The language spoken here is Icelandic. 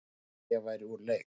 Hélt að ég væri úr leik